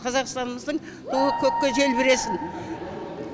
қазақстанымыздың туы көкке желбіресін